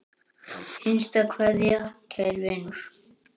HINSTA KVEÐJA Kæri vinur.